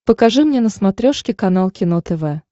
покажи мне на смотрешке канал кино тв